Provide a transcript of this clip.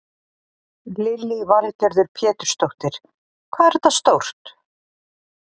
Lillý Valgerður Pétursdóttir: Hvað er þetta stórt?